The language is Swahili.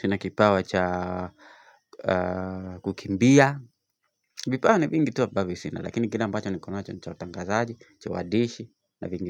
sina kipawa cha kukimbia. Vipawa ni vingi tu ambavyo sina lakini kile ambacho nikonacho ni cha utangazaji, cha uandishi na vingine.